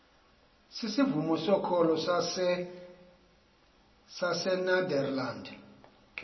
sisivumo sokholo sasenederland